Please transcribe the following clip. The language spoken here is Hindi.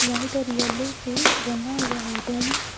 व्हाइट और येलो से रंगा हुआ है रूम ।